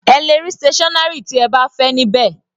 Ẹ lè rí stationary tí ẹ bá fẹ́ ní bẹ́ẹ̀.